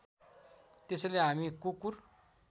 त्यसैले हामी कुकुर